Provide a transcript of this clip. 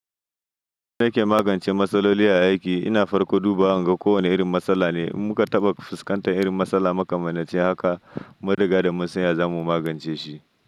Ni nake magance matsaloli a aiki, ina farko duba in ga ko wane irin matsala ne, in muka taɓa fuskantar irin matsala makamanci haka, mun riga da munsan ya zamu magance shi.